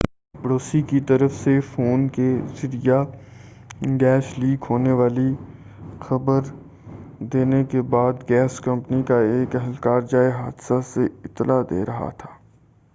ایک پڑوسی کی طرف سے فون کے ذریعہ گیس لیک ہونے کی خبر دینے کے بعد گیس کمپنی کا ایک اہلکار جائے حادثہ سے اطلاع دے رہا تھا